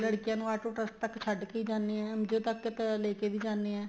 ਲੜਕੀਆਂ ਨੂੰ auto trust ਤੱਕ ਛੱਡ ਕੇ ਹੀ ਜਾਣੇ ਏ ਉਹਦੇ ਤੱਕ ਤਾਂ ਲੈਕੇ ਵੀ ਜਾਣੇ ਏ